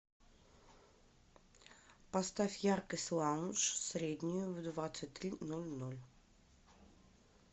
поставь яркость лаунж среднюю в двадцать три ноль ноль